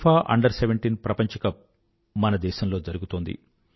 FIFA under17 ప్రపంచ cup మన దేశంలో జరుగుతోంది